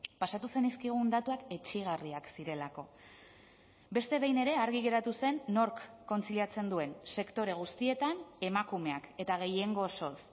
pasatu zenizkigun datuak etsigarriak zirelako beste behin ere argi geratu zen nork kontziliatzen duen sektore guztietan emakumeak eta gehiengo osoz